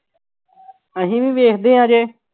ਅਸੀਂ ਵੀ ਵੇਖਦੇ ਹਾਂ ਅਜੇ